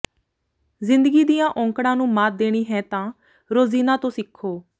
ਜ਼ਿੰਦਗੀ ਦੀਆਂ ਔਕੜਾਂ ਨੂੰ ਮਾਤ ਦੇਣੀ ਹੈ ਤਾਂ ਰੋਜ਼ੀਨਾ ਤੋਂ ਸਿੱਖੋ